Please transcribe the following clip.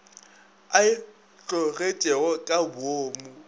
a e tlogetšego ka boomo